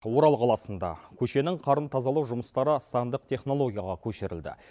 орал қаласында көшенің қарын тазалау жұмыстары сандық технологияға көшірілді